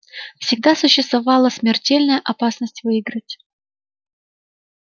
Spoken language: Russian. всегда существовала смертельная опасность выиграть